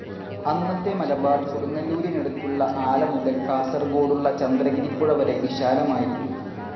അന്നത്തെ മലബാർ കൊടുങ്ങല്ലൂരിനടുത്തുള്ള ആല മുതൽ കാസർഗോഡുള്ള ചന്ദ്രഗിരിപ്പുഴ വരെ വിശാലമായിരുന്നു.